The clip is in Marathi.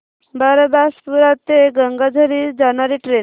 बारबासपुरा ते गंगाझरी जाणारी ट्रेन